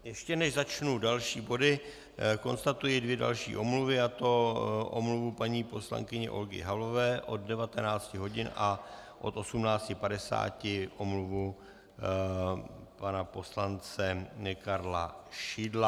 Ještě než začnu další body, konstatuji dvě další omluvy, a to omluvu paní poslankyně Olgy Havlové od 19 hodin a od 18.50 omluvu pana poslance Karla Šidla.